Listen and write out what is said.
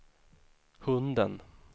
hunden